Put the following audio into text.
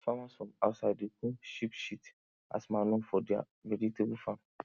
farmers from outside dey come sheep shit as manure for their vegetable farm